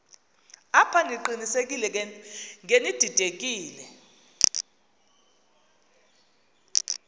apha ndiqinisekile ngenididekile